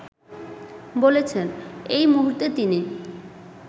বলেছেন, এই মুহূর্তে তিনি